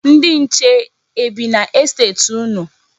Ndị nche e bi n'estet unu?